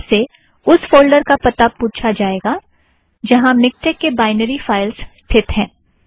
आपसे उस फ़ोल्ड़र का पता पुछा जाएगा जहाँ मिक्टेक के बायनरी फ़ाइल्स स्थित है